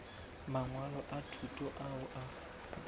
mangwalo a thuto ao a